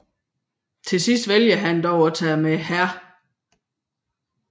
Til sidst vælger han dog at tage med Hr